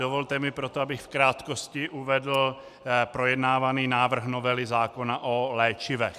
Dovolte mi proto, abych v krátkosti uvedl projednávaný návrh novely zákona o léčivech.